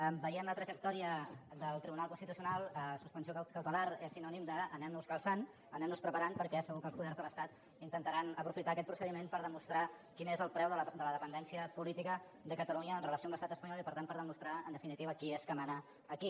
veient la trajectòria del tribunal constitucional suspensió cautelar és sinònim d’anem nos calçant anem nos preparant perquè segur que els poders de l’estat intentaran aprofitar aquest procediment per demostrar quin és el preu de la dependència política de catalunya amb relació a l’estat espanyol i per tant per demostrar en definitiva qui és que mana aquí